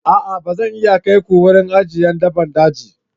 A'a! Ba zan iya kai ku wurin ajiyar dabbban daji.